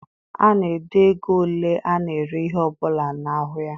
A na-ede ego ole ana ere ihe ọbụla n'ahụ ya.